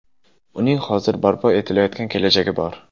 Uning hozir barpo etilayotgan kelajagi bor.